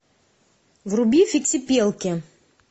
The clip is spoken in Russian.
вруби фиксипелки